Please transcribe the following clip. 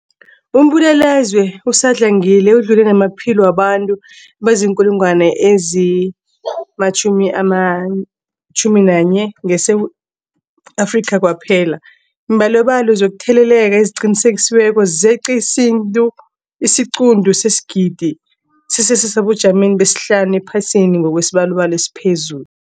Umbulalazwe usadlangile udlule namaphilo wabantu abaziinkulungwana ezi-11 ngeSewula Afrika kwaphela. Iimbalobalo zokutheleleka eziqinisekisiweko zeqe isiquntu sesigidi, sisesebujameni besihlanu ephasini ngokwesibalo esiphezulu.